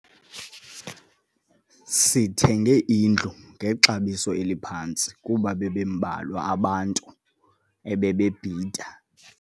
Sithenge indlu ngexabiso eliphantsi kuba bebembalwa abantu ebebebhida.